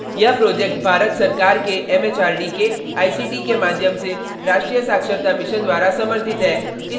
यह प्रोजेक्ट भारत सरकार के एमएचआरडी के आईसीटी के माध्यम से राष्ट्रीय साक्षरता मिशन द्वारा समर्थित है